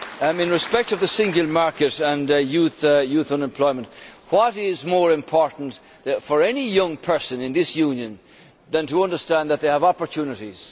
In respect of the single market and youth unemployment, what is more important for any young person in this Union than to understand that they have opportunities?